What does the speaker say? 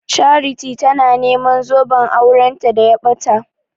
Charity tana neman zoben auranta da ya ɓata.